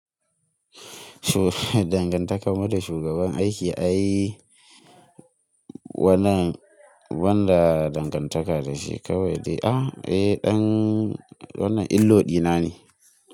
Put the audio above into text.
Dangantakar mu da shugaban aiki, ai wannan wanda dangantaka da shi kawai dai, ah eh ɗan wannan illo ɗina ne.